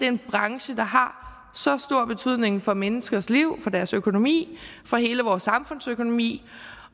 en branche der har så stor betydning for menneskers liv for deres økonomi for hele vores samfunds økonomi